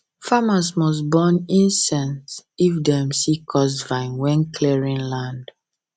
farmers must burn incense if dem see cursed vines when clearing land